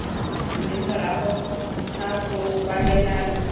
mme morago ga foo kwalelano